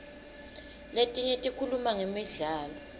letinye tikhuluma ngemidlalo